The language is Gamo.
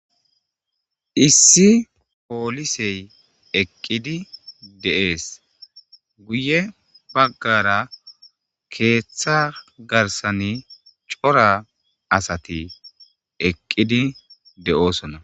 Issi poolisey eqqidi de'ees guye baggara keeththa garsani cora asati eqqidi de'osona.